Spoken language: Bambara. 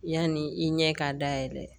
Yanni i ɲɛ k'a dayɛlɛ